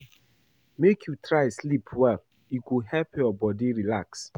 Make you try sleep well, e go help your bodi relax.